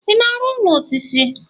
ị na-arụ ụlọ osisi?